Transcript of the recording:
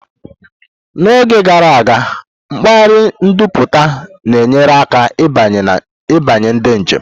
N'oge gara aga, mpaghara nbudata na-enyere aka ịbanye ndị njem.